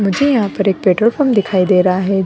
मुझे यहाँ पर एक पेट्रोल पंप दिखाई दे रहा है।